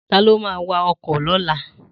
Ta ló ma wa ọkọ̀ lọ́la?